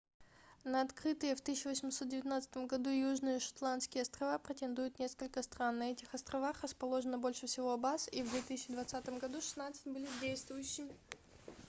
на открытые в 1819 году южные шетландские острова претендуют несколько стран на этих островах расположено больше всего баз и в 2020 году шестнадцать были действующими